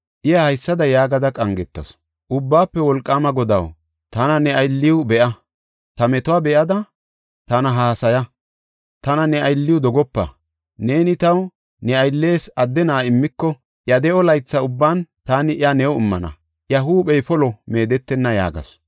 Iya haysada yaagada qangetasu; “Ubbaafe Wolqaama Godaw, tana ne aylliw be7a. Ta metuwa be7ada, tana hassaya; tana ne aylliw dogopa. Neeni taw ne ayllees adde na7a immiko, iya de7o laytha ubban taani iya new immana; iya huuphey polo meedetenna” yaagasu.